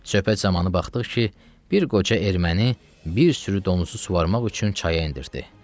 Söhbət zamanı baxdıq ki, bir qoca erməni bir sürü donuzu suvarmaq üçün çaya endirtdi.